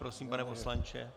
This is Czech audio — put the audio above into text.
Prosím, pane poslanče.